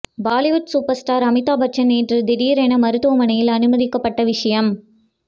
Bollywood super star Amitabh Bachchan நேற்று திடீர் என மருத்துவ மனையில் அனுமதிக்கப்பட்ட விஷயம்